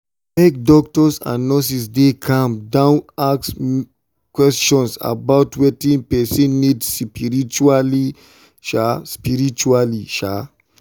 make doctors and nurses dey calm down ask question about wetin person need spritually. spritually.